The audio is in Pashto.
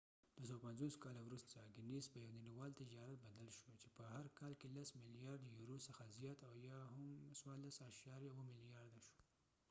دوه سوه پنڅوس کاله وروسته ګینیس په یو نړیوال تجارت بدل شو . چې په هر کال کې لس ملیارديورو څخه زیات یا هم څوارلس اعشاریه اوو ملیارده ډالر14.7billion $us شو